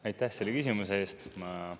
Aitäh selle küsimuse eest!